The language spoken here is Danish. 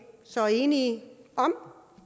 så enige om